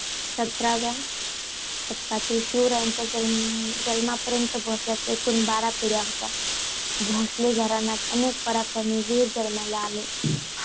सतराव्या शतकातील शिवरायांच्या जन्माप जन्मापर्यंत भोसलेंच्या एकूण बारा पिढ्या होतात. भोसले घराण्यात अनेक पराक्रमी वीर जन्माला आले.